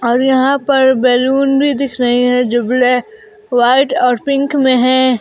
और यहां पर बैलून भी दिख रहे है जो ब्लै व्हाइट और पिंक में है।